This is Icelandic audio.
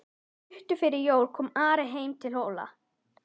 Stuttu fyrir jól kom Ari heim til Hóla.